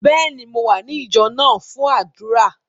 Bẹ́ẹ̀ni, Mò wa ní ìjọ náà fun àdúrà.